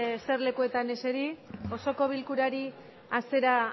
eserlekuetan eseri osoko bilkurari hasiera